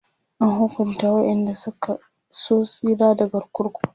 an hukunta waƴanda Suka so tsira daga kurkuku